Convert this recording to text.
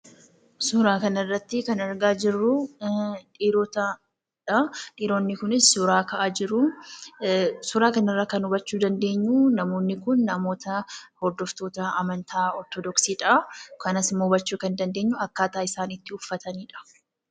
Suuraa kanarratti kan argaa jirru suuraa dhiirotaadha. Dhiirotni kunis suuraa ka'aa jiru. Suuraa kanarraa kan hubachuu dandeenyu namoonni kun namoota hordoftoota amantaa ortodoksiidha. Akkasumas kan hubachuu dandeenyu akkaataa isaan itti uffatanidha.